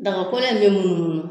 Dagakɔlɔ in be munnu munnu